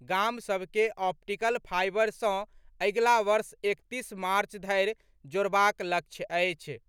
गाम सभ के ऑप्टिकल फाईबर सँ अगिला वर्ष एकतीस मार्च धरि जोड़बाक लक्ष्य अछि।